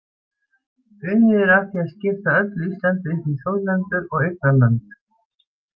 Unnið er að því að skipta öllu Íslandi upp í þjóðlendur og eignarlönd.